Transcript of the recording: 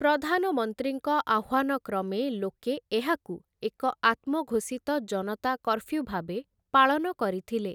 ପ୍ରଧାନମନ୍ତ୍ରୀଙ୍କ ଆହ୍ୱାନକ୍ରମେ ଲୋକେ ଏହାକୁ ଏକ ଆତ୍ମଘୋଷିତ ଜନତା କର୍ଫ୍ୟୁଭାବେ ପାଳନ କରିଥିଲେ ।